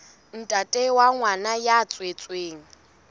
ntate wa ngwana ya tswetsweng